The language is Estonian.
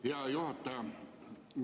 Hea juhataja!